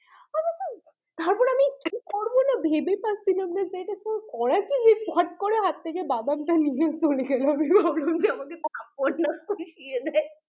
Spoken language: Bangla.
কোনো ভেবে পাচ্ছিলাম না যে কলাটা ফট করে করে বাঁদরটা হাত থেকে নিয়ে চলে গেল আমি ভাবলাম আমাকে যদি হঠাৎ করে খেয়ে নেয়